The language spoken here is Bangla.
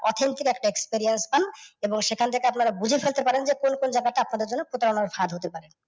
অছিন্তের একটা experience পান এবং সেখান থেকে আপনারা বুঝে ফেলতে পারেন যে কোন কোন জায়গা থেকে আপনাদের জন্য প্রতারণার ফাঁদ হতে পারে।